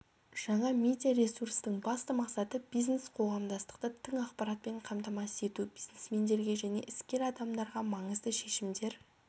жаңа медиа ресурстың басты мақсаты бизнес-қоғамдастықты тың ақпаратпен қамтамасыз ету бизнесмендерге және іскер адамдарға маңызды шешімдер